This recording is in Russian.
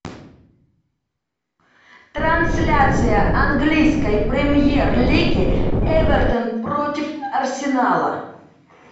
трансляция английской премьер лиги эвертон против арсенала